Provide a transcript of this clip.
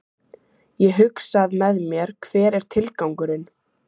Ég hugsað með mér, hver er tilgangurinn?